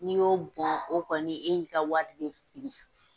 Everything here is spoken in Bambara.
N'i y'o bɔn, o kɔni e y'i ka wari de fili.